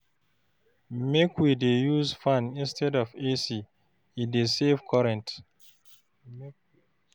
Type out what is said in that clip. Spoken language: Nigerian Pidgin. Make we dey use fan instead of AC, e dey save current.